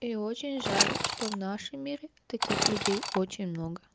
и очень жаль что в нашем мире таких людей очень много